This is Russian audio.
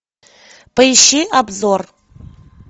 поищи обзор